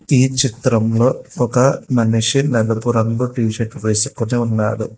ఈ చిత్రంలో ఒక మనిషి నలుపు రంగు టీ షర్టు వేసుకుని ఉన్నాడు